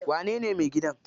Wanene mai gidan?